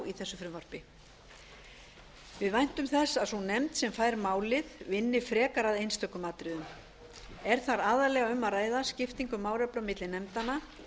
í þessu frumvarpi við væntum þess að sú nefnd sem fær málið vinni frekar að einstökum atriðum er þar aðallega um að ræða skiptingu málefna milli nefndanna